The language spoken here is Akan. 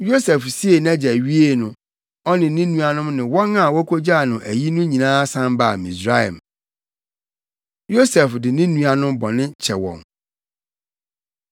Yosef siee nʼagya wiee no, ɔne ne nuanom ne wɔn a wokogyaa no ayi no nyinaa san baa Misraim. Yosef De Ne Nuanom Bɔne Kyɛ Wɔn